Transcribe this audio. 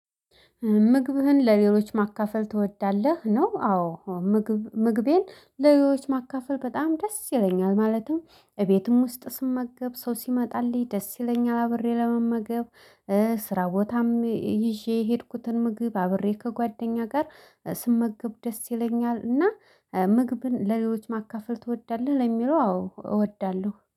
ምግብህን ለሌሎች ማካፈል ትወዳለህ ነው? አዎ ምግብ ምግቤን ለሌሎች ማካፈል በጣም ደስ ይለኛል ማለትም እቤትም ውስጥ ስመገብ ሰው ሲመጣልኝ ደስ ይለኛል አብሬ ለመመገብ። ስራ ቦታም ይዤ የሄድኩትን ምግብ አብሬ ከጓደኛ ጋር ስመገብ ደስ ይለኛል። እና ምግብን ለሌሎች ማካፈል ትወዳለህ ለሚለው አዎ እወዳለሁ